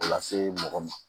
O lase mɔgɔ ma